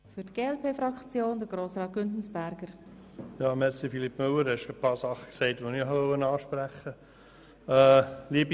Philippe Müller – du hast schon einige Sachen gesagt, die ich ansprechen wollte.